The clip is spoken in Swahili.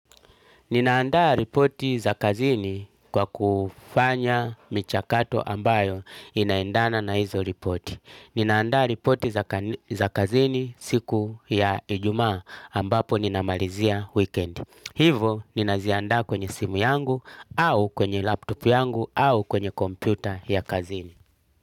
Ninaandaa ripoti za kazini kwa kufanya michakato ambayo inaendana na hizo ripoti. Ninaandaa ripoti za kazini siku ya ijumaa ambapo ninamalizia wikendi. Hivo ninaziandaa kwenye simu yangu au kwenye laptop yangu au kwenye kompyuta ya kazini.